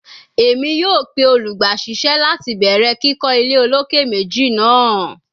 Emi yoo pe olugbaisese lati bẹrẹ kikọ ile oloke meji naa